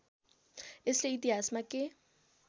यसले इतिहासमा के